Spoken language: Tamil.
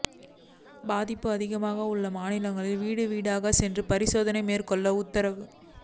பாதிப்பு அதிகம் உள்ள மாநிலங்களில் வீடுவீடாக சென்று பரிசோதனை மேற்கொள்ள உத்தரவு